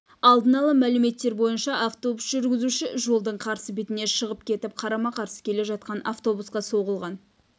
алдын ала мәліметтер бойынша автобус жүргізушісі жолдың қарсы бетіне шығып кетіп қарама-қарсы келе жатқан автобусқа соғылған